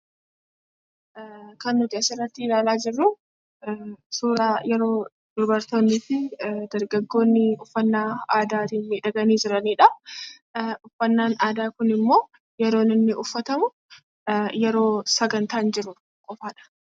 Kan nuti asirratti ilaalaa jirru, suuraa yeroo dubartoonni fi dargaggoonni uffannaa aadaatiin miidhagani jiranidhaa. uffannaan aadaa kunimmo, yeroo inni uffatamu, yeroo sagantaan jiru qofadha.